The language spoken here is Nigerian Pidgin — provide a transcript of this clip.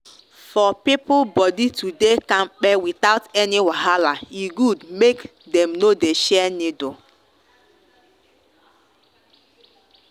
for people body to dey kampe without any wahala e good make they no dey share needle.